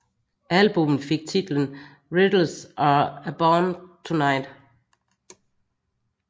Albummet fik titlen Riddles Are Abound Tonight